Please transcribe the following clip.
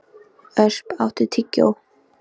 Ösp, áttu tyggjó?